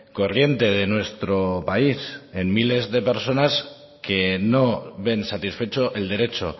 corriente de nuestro país en miles de personas que no ven satisfecho el derecho